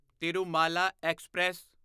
Tirumala express